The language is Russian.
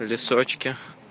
в лесочке